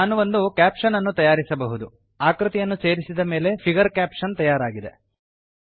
ನಾನು ಒಂದು ಕ್ಯಾಪಶನ್ ಅನ್ನು ತಯಾರಿಸಬಹುದು ಆಕೃತಿಯನ್ನು ಸೇರಿಸಿದ ಮೇಲೆ ಫಿಗರ್ ಕ್ಯಾಪ್ಷನ್ ತಯಾರಾಗಿದೆ